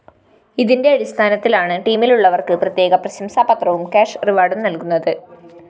ഇതിന്റെ അടിസ്ഥാനത്തിലാണ് ടീമിലുള്ളവര്‍ക്ക് പ്രത്യേക പ്രശംസാപത്രവും കാഷ്‌ റിവാര്‍ഡും നല്‍കുന്നത്